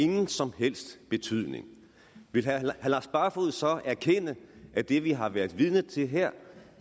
nogen som helst betydning vil herre lars barfoed så erkende at det vi har været vidne til her